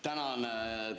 Tänan!